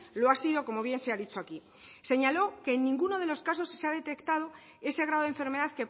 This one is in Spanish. lo ha sido como bien se ha dicho aquí señaló que en ninguno de los casos se ha detectado ese grado de enfermedad